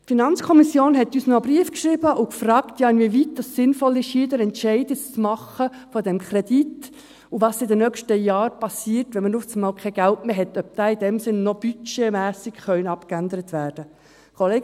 Die FiKo hat uns noch einen Brief geschrieben und gefragt, wie weit es sinnvoll ist, den Entscheid zu diesem Kredit zu treffen, und was in den nächsten Jahren geschieht, falls man auf einmal kein Geld mehr hat, also, ob dieser budgetmässig noch abgeändert werden könnte.